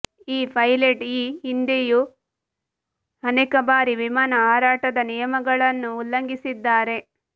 ಈ ಪೈಲಟ್ ಈ ಹಿಂದೆಯೂ ಅನೇಕ ಬಾರಿ ವಿಮಾನ ಹಾರಾಟದ ನಿಯಮಗಳನ್ನು ಉಲ್ಲಂಘಿಸಿದ್ದಾರೆ